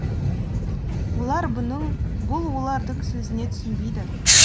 олар бұның бұл олардың сөзіне түсінбейді